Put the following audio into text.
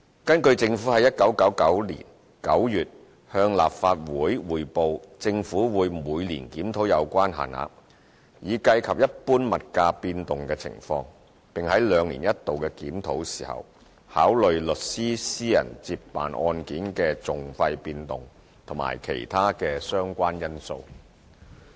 根據政府在1999年9月向立法會匯報，政府會每年檢討有關限額，以計及一般物價變動情況，並在兩年一度的檢討時，考慮律師私人接辦案件的訟費變動和其他相關因素。